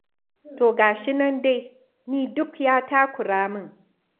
To ga shi nan dai, ni duk ya takura min.